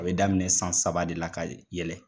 A be daminɛ san saba de la ka yɛlɛ